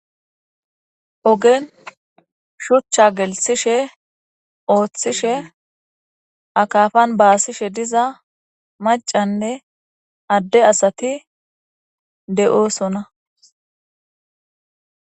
ogen shuchcha gelsishe ooththishe akafan baasishe diza macanne adde asati de'oosona